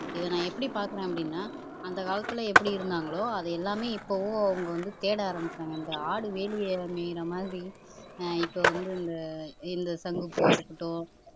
இதை நான் எப்படி பார்க்கிறேன் அப்படின்னா அந்த காலத்துல எப்படி இருந்தாங்களோ அது எல்லாமே இப்பவும் அவங்க வந்து தேட ஆரம்பிச்சுட்டாங்க இந்த ஆடு வேலிய மேயிற மாதிரி ஆஹ் இப்ப வந்து இந்த இந்த சங்கு பூவா இருக்கட்டு